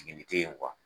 Jiginni tɛ yen